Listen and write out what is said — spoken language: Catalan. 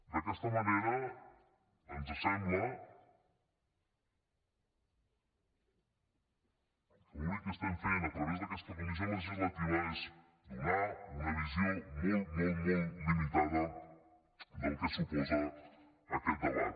d’aquesta manera ens sembla que l’únic que estem fent a través d’aquesta comissió legislativa és donar una visió molt molt molt limitada del que suposa aquest debat